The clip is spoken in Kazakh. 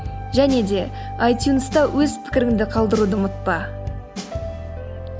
және де айтюнста өз пікіріңді қалдыруды ұмытпа